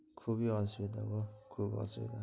খুবি